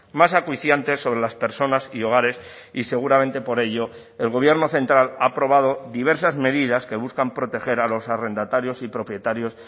más acuciantes sobre las personas y hogares y seguramente por ello el gobierno central ha aprobado diversas medidas que buscan proteger a los arrendatarios y propietarios